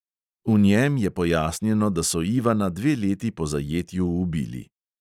V njem je pojasnjeno, da so ivana dve leti po zajetju ubili.